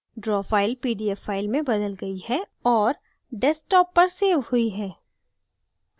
draw file pdf file में बदल गयी है और desktop सेव हुई है